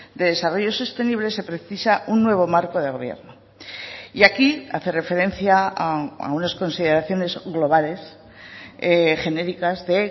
de desarrollo sostenible se precisa un nuevo marco de gobierno y aquí hace referencia a unas consideraciones globales genéricas de